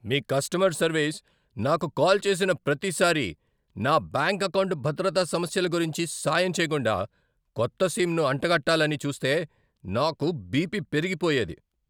మీ customer service నాకు call చేసిన ప్రతిసారీ, నా బ్యాంక్ అకౌంటు భద్రతా సమస్యల గురించి సాయం చేయకుండా కొత్త సిమ్‌ను అంటగట్టాలని చూస్తే నాకు బిపి పెరిగిపోయేది.